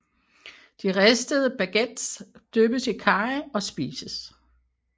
De ristede baguetter dyppes i karry og spises